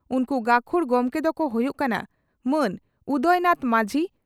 ᱩᱱᱠᱩ ᱜᱟᱹᱠᱷᱩᱲ ᱜᱚᱢᱠᱮ ᱫᱚᱠᱚ ᱦᱩᱭᱩᱜ ᱠᱟᱱᱟ ᱺᱼ ᱢᱟᱱ ᱩᱫᱚᱭ ᱱᱟᱛᱷ ᱢᱟᱡᱷᱤ